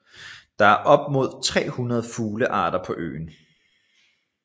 Der er op mod 300 fuglearter på øen